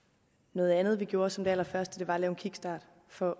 noget andet vi gjorde som det allerførste var at lave en kickstart for